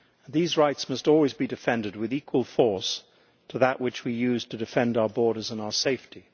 These rights must always be defended with equal force to that which we use to defend our borders and our safety.